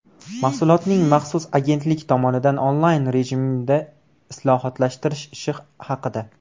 Mahsulotning maxsus agentlik tomonidan onlayn rejimda islohotlashtirish ishi haqida.